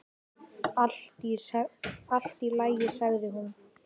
Allt í lagi, sagði hún.